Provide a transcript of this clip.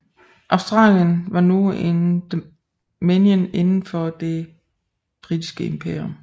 Australien var nu en dominion inden for Det Britiske Imperium